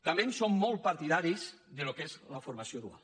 també som molt partidaris del que és la formació dual